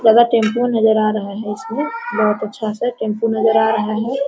Tempo नजर आ रहा है इसमें बहोत अच्छा-सा टेंपु नजर आ रहा है।